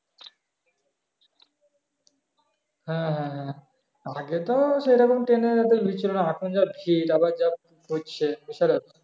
হ্যাঁ হ্যাঁ হ্যাঁ আগে তো সেরকম train এর এত ভির ছিলনা এখন যা ভির আবার